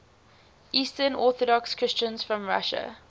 eastern orthodox christians from russia